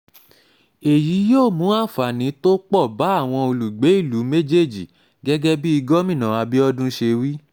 èyí yóò mú àǹfààní tó pọ̀ bá àwọn olùgbé ìlú méjèèjì gẹ́gẹ́ bí gómìnà abiodun ṣe wí